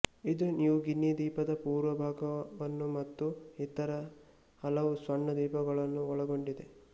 ಇದು New Guinea ದ್ವೀಪದ ಪೂರ್ವ ಭಾಗವನ್ನು ಮತ್ತು ಇತರ ಹಲವು ಸಣ್ಣ ದ್ವೀಪಗಳನ್ನು ಒಳಗೊಂಡಿದೆ